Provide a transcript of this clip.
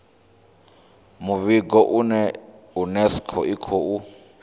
muvhigo uyu unesco i khou